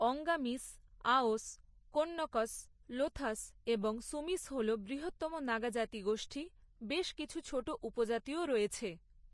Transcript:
অঙ্গামিস, আওস, কোন্যকস, লোথাস এবং সুমিস হল বৃহত্তম নাগা জাতিগোষ্ঠী; বেশ কিছু ছোট উপজাতিও রয়েছে।